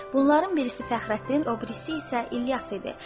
Bunların birisi Fəxrəddin, o birisi isə İlyas idi.